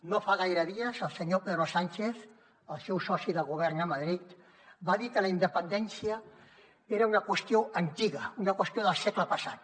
no fa gaire dies el senyor pedro sánchez el seu soci de govern a madrid va dir que la independència era una qüestió antiga una qüestió del segle passat